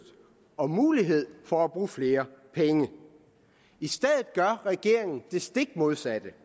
og mulighed for at bruge flere penge i stedet gør regeringen det stik modsatte